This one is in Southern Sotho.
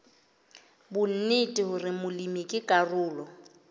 bonnete hore molemi ke karolo